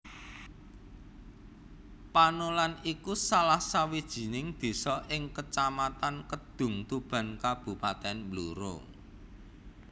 Panolan iku salah sawijining désa ing Kecamatan Kedungtuban Kabupatèn Blora